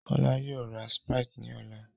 Kọ́lá yóò ra Sprite ní ọ̀la